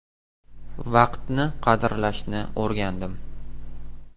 Vaqtni qadrlashni o‘rgandim.